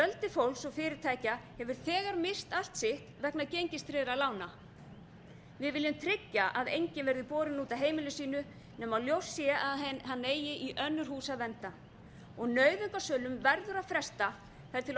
fólks og fyrirtækja hefur þegar misst allt sitt vegna gengistryggðra lána við viljum tryggja að enginn verði borinn út af heimili sínu nema ljóst sé að hann eigi í önnur hús að venda nauðungarsölum verður að fresta þar til